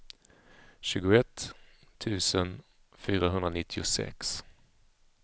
tjugoett tusen fyrahundranittiosex